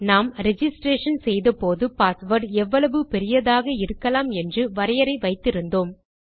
நாம் ரிஜிஸ்ட்ரேஷன் ஐ செய்த போது பாஸ்வேர்ட் எவ்வளவு பெரிதாக இருக்கலாம் என்று வரையரை வைத்து இருந்தோம்